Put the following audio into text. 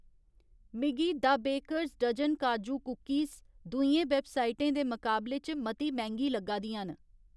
मिगी the bakers dozen काजू cookies दूइयें वैबसाइटें दे मकाबले च मती मैंह्‌गी लग्गा दियां न